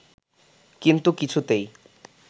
কিন্তু কিছুতেই